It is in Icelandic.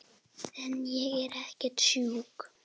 En ég er ekkert sjúk.